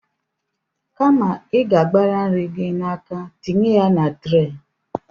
Kama ị ga-abara nri gị n’aka tinye ya na tre